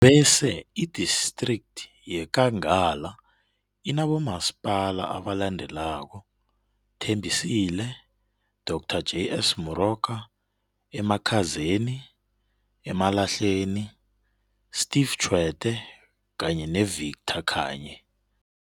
Bese i-District yeNkangala inabomaspala abalendelako, Thembisile, DR JS Moroka, eMakhazeni, Emalahleni, Steve Tshwete kanye ne-Victor Khanye.